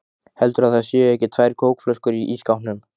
HELDURÐU AÐ ÞAÐ SÉU EKKI TVÆR KÓKFLÖSKUR Í ÍSSKÁPNUM!